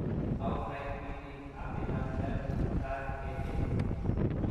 Arkwright PD, Abinum M. Cant AJ.